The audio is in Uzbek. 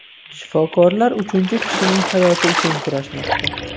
Shifokorlar uchinchi kishining hayoti uchun kurashmoqda.